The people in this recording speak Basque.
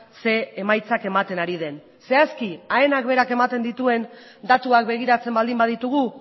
ze emaitzak ematen ari den zehazki aenak berak ematen dituen datuak begiratzen baldin baditugu